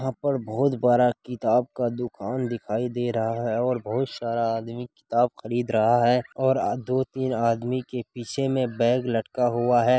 वहाँ पर बहुत बड़ा किताब का दुकान दिखाई दे रहा है। और बहुत सारा आदमी किताब खरीद रहा है। और दो-तीन आदमी के पीछे मे बैग लटका हुआ है।